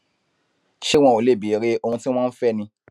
ṣé wọn ò lè béèrè ohun tí wọn ń fẹ ni